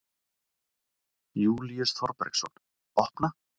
Júlíus Þorbergsson: Opna?